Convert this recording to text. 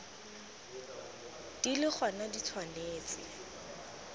di le gona di tshwanetse